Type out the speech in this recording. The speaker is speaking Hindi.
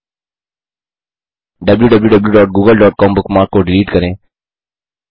wwwgooglecom बुकमार्क को डिलीट करें